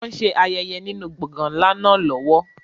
Wọn ṣe ayẹyẹ nínú gbọ̀ngàn ńlá náà lọ́wọ́.